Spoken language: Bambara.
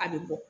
A bɛ bɔ